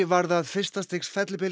varð að fyrsta stigs fellibyl